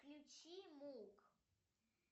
включи мук